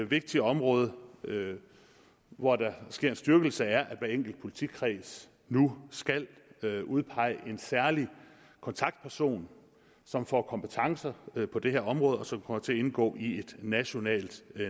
vigtige område hvor der sker en styrkelse er at hver enkelt politikreds nu skal udpege en særlig kontaktperson som får kompetence på det her område og som kommer til at indgå i et nationalt